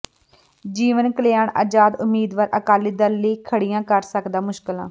ਜੀਵਨ ਕਲਿਆਣ ਆਜ਼ਾਦ ਉਮੀਦਵਾਰ ਅਕਾਲੀ ਦਲ ਲਈ ਖੜ੍ਹੀਆਂ ਕਰ ਸਕਦਾ ਮੁਸ਼ਕਿਲਾਂ